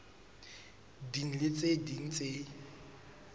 ding le tse ding tse